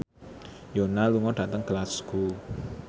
Yoona lunga dhateng Glasgow